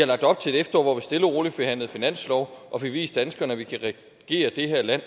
lagt op til et efterår hvor vi stille og roligt forhandlede finanslov og fik vist danskerne at vi kan regere det her land